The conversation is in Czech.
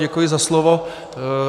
Děkuji za slovo.